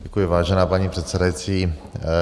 Děkuji, vážená paní předsedající.